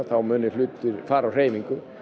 þá munu hlutir fara á hreyfingu